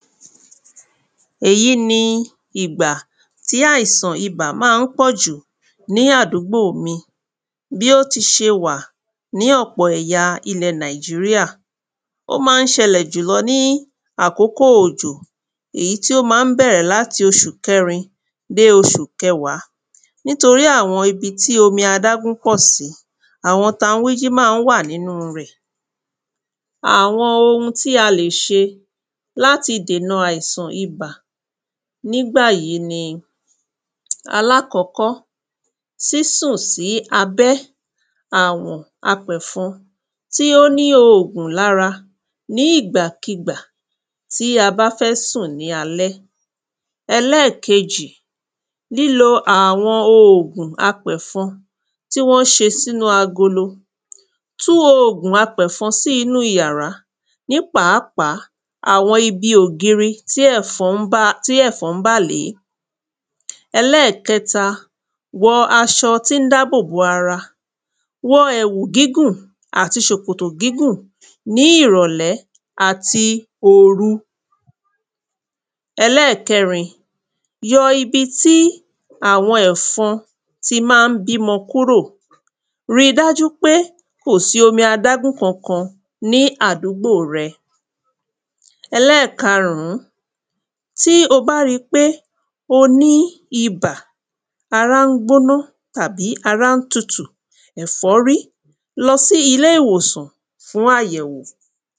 Èyí ni ìgbà tì àìsàn ibà má ń pọ̀jù ní àdúgbò mi Bí ó ti ṣe wà ní ọ̀pọ̀ ẹ̀ya ilẹ̀ Nàìjíríà Ó má ń ṣẹlẹ̀ jùlọ ní àkókò òjò. Èyí tí ó má ń bẹ̀rẹ̀ l’áti oṣù kẹrin dé oṣu kẹwàá Nítorí àwọn ibi ti omi adágún ma ń pọ̀ sì, àwọn tanwíjín ma ń wà n'ínú rẹ̀. Àwọn ohun tí a lè ṣe l'áti dènà àìsàn ibà n'ígbà yí ni. Alákọ́kọ́, sísùn sí abẹ́ àwọn apẹ̀fọn. tí ó ní oògùn l'ára ní ìgbà kí ìgbà tí a bá fẹ́ sùn ní alẹ́. Ẹlẹ́kejì, lílo àwọn oògùn apẹ̀fọn tí wọ́n ṣe s'ínu agolo Tú oògun apẹ̀fọn sí inú iyàrá ní pàpápàá àwọn ibi ògiri tí ẹfọn ń bà lé. Ẹlẹ́kẹ́ta, wọ aṣọ tí ń dábòbò ara. Wọ ẹ̀wù gígùn àti ṣòkòtò gígùn ní ìrọ̀lẹ́ àti òru. Ẹlẹ́ẹ̀kẹ́rin, yọ ibi tí àwọn ẹfọn ti má ń bimọ kúrò Ri dájú pé kò sí omi adágún kan ní àdúgbò rẹ Ẹlẹ́ẹ̀karùn, tí o bá ri pé o ní ibà, ará ń gbóná tàbí ará ń tutù, ẹ̀fọ́rí lọ sí ilé ìwòsàn fún àyẹ̀wò.